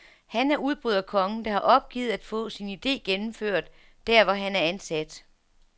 Han er udbryderkongen, der har opgivet at få sin ide gennemført, der hvor han er ansat.